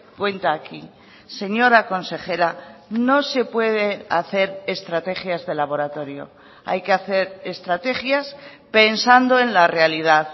cuenta aquí señora consejera no se puede hacer estrategias de laboratorio hay que hacer estrategias pensando en la realidad